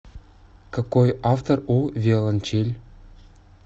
какой автор у виолончель